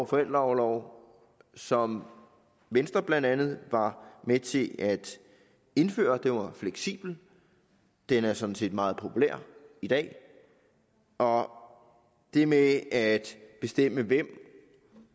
forældreorlov som venstre blandt andet var med til at indføre den var fleksibel den er sådan set meget populær i dag og det med at bestemme hvem